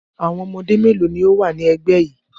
Àwọn ọmọdé mélòó ni ó wà ní ẹgbẹ́ yìí?